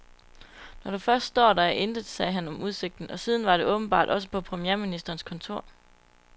Når du først står der, er der intet, sagde han om udsigten, og sådan var det åbenbart også på premierministerens kontor.